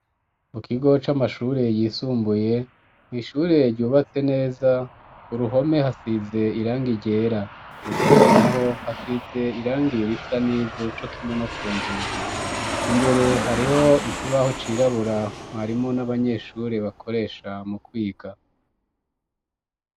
Mu kigo c'amashure yisumbuye mwishure ryubatse neza ku ruhome hasize irangi ryera ku nkingi naho hasize irangiri risa n'ivu nico kimwe no ku nzugi imbere hariho iki baho cirabura mwarimo n'abanyeshure bakoresha mu kwiga.